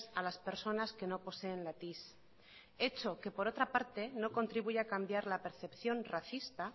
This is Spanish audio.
a las personas que no poseen la tis hecho que por otra parte no contribuye a cambiar la percepción racista